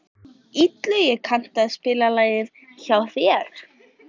Illugi, kanntu að spila lagið „Hjá þér“?